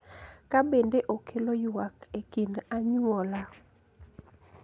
Ka bende okelo ywak e kind anyuola.